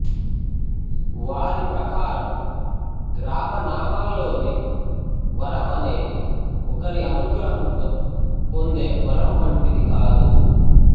వారి ప్రకారం గ్రామనామాల్లోని వరం అనేది ఒకరి అనుగ్రహంతో పొందే వరం వంటిది కాదు